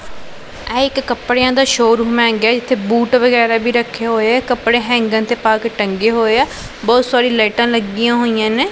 ਇਹ ਇੱਕ ਕਪੜਿਆਂ ਦਾ ਸ਼ੋਰੂਮ ਹੈਗਾ ਹੈ ਇੱਥੇ ਬੂਟ ਵਗੈਰਾ ਵੀ ਰੱਖੇ ਹੋਏਆ ਕੱਪੜੇ ਹੈਂਗਰ ਤੇ ਪਾਕੇ ਟੰਗੇ ਹੋਏਆਂ ਬਹੁਤ ਸਾਰੀ ਲਾਈਟਾਂ ਲੱਗੀਆਂ ਹੋਈਆਂ ਨੇਂ।